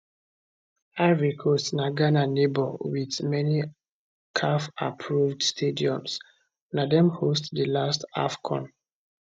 ivory coast na ghana neighbour wit many cafapproved stadiums na dem host di last afcon